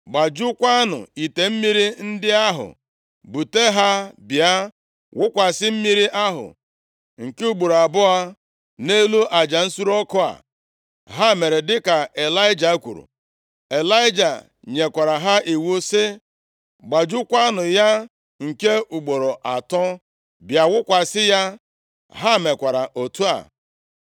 “Gbajukwaanụ ite mmiri ndị ahụ, bute ha bịa wụkwasị mmiri ahụ nke ugboro abụọ nʼelu aja nsure ọkụ a.” Ha mere dịka Ịlaịja kwuru. Ịlaịja nyekwara ha iwu sị, “Gbajukwaanụ ya nke ugboro atọ, bịa wụkwasị ya.” Ha mekwara otu a.